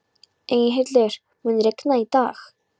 Eyhildur, mun rigna í dag?